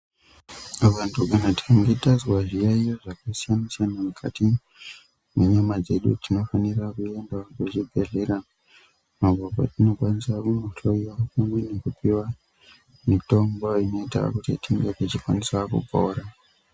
Vantu tikange tanzwa zviyaiyo zvakasiyana siyana mukati mwenyama dzedu tinofanira kuenda kuchibhedhlera apo patinokwanisa kunohloiwa mumwiri bekupiwa mitombo inoita kuti tinge tichikwanisa kupora.